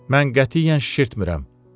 Mən qətiyyən şişirtmirəm.